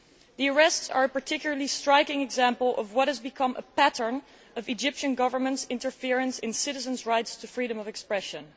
The arrests are a particularly striking example of what has become a pattern of the Egyptian Government's interference in citizens' rights to freedom of expression.